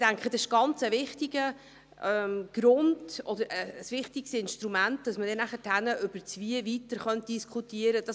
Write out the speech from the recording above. Ich denke, dies ein wichtiger Grund oder ein wichtiges Instrument, damit man nachher über das Wie-weiter diskutieren kann.